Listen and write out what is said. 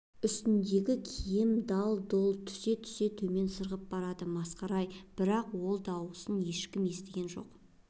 үстіндегі киім дал-дұл түте-түте төмен сырғып барады масқара-ай бірақ ол дауысын ешкім естіген жоқ